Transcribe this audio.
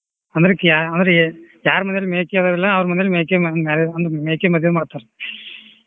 ಅಂದ್ರೆ ಕ್ಯಾ~ ಅಂದ್ರೆ ಯಾರ್ ಮನೆಯಲ್ಲಿ ಮೇಕೆ ಇರುದಿಲ್ಲ ಅವ್ರ ಮನೆಯಲ್ಲಿ ಮೇಕೆ ma~ marriage ಹ್ಮ್‌ ಮೇಕೆ ಮದ್ವೆ ಮಾಡ್ತಾರ್.